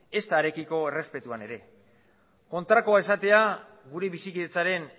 ezta harekiko errespetuan ere kontrakoa esatea gure bizikidetzaren